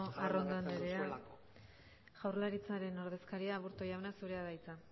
arrondo andrea jaurlaritzaren ordezkaria aburto jauna zurea da hitza